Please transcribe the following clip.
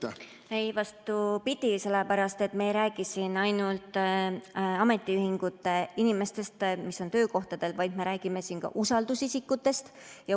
Ei, vastupidi, sellepärast et me ei räägi siin ainult ametiühinguinimestest, kes on töökohtadel, vaid me räägime ka usaldusisikutest.